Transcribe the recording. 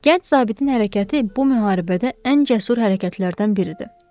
Gənc zabitin hərəkəti bu müharibədə ən cəsur hərəkətlərdən biridir.